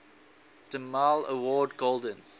demille award golden